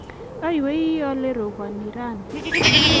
aywei ale robani raini